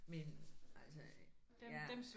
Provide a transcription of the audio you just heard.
Men altså jeg